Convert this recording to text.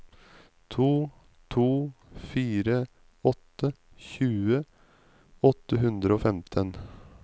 to to fire åtte tjue åtte hundre og femten